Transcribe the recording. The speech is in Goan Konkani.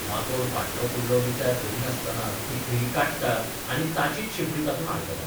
माकोड फाटलो फुडलो विचार करिनासतना ती खिळी काडटा आनी ताचीच शेपडी तातूंत अडकता.